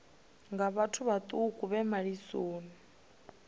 nga vhathu vhaṱuku vhe malisoni